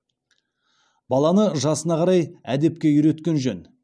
баланы жасына қарай әдепке үйреткен жөн